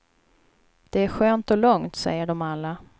Det är skönt och lugnt, säger de alla.